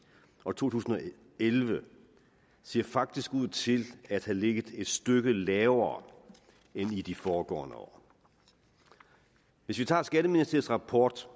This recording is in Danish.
og to tusind og elleve ser faktisk ud til at have ligget et stykke lavere end i de foregående år hvis vi tager skatteministeriets rapport